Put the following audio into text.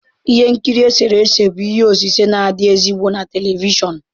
Ihe nkiri eserese bụ ihe osise na-adị ezigbo na telivishọn